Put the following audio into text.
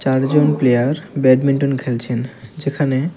চারজন player badminton খেলছেন যেখানে।